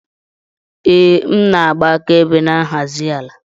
Ee, m na-agba akaebe na nhazi ala